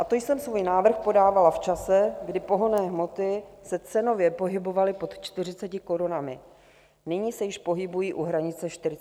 A to jsem svůj návrh podávala v čase, kdy pohonné hmoty se cenově pohybovaly pod 40 korunami, nyní se již pohybují u hranice 45 korun.